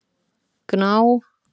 Gná